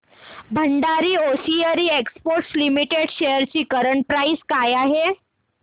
Bhandari hosiery exports limited shares ची current price काय आहे